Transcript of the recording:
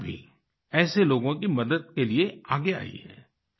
राज्य सरकार भी ऐसे लोगों की मदद के लिए आगे आई है